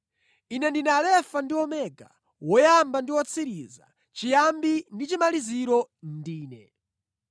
Ine ndine Alefa ndi Omega, Woyamba ndi Wotsiriza, Chiyambi ndi Chimaliziro ndine.